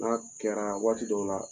Baaraw kɛra waati dɔw la